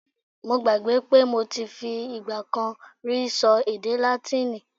Mo gbàgbé pé mo ti fi ìgbà kan rí ṣọ èdè Látíìnì.